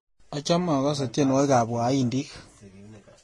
Achame agase tyenwogikab waindik